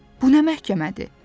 Bu nə məhkəmədir?